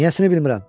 Niyəsini bilmirəm.